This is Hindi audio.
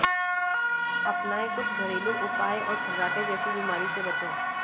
अपनाये कुछ घरेलु उपाय और खर्राटे जैसी बीमारी से बचें